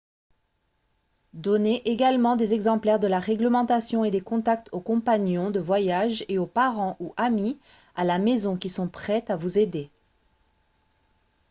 donnez également des exemplaires de la réglementation et des contacts aux compagnons de voyage et aux parents ou amis à la maison qui sont prêts à vous aider